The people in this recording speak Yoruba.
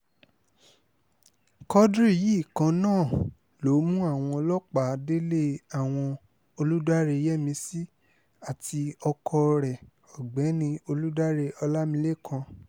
quadri yìí kan náà ló mú àwọn ọlọ́pàá délé àwọn olùdaré yẹ́mísì àti ọkọ rẹ̀ ọ̀gbẹ́ni olùdaré ọlámilekan